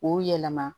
K'o yɛlɛma